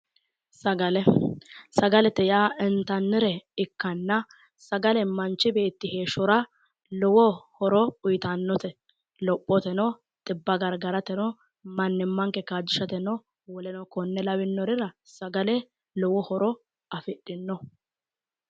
Sagale sagalete yaa initannire ikkana sagale manichi beetira heeshora Lowo horo uyitannote lophotrno xibba garigadhateno mannimanikke kaajishateno woleno konne lawannorira sagale lowo horo afidhino